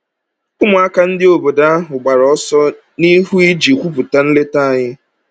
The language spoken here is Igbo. Ụmụaka ndị obodo ahụ gbara ọsọ n’ihu iji kwupụta nleta anyị.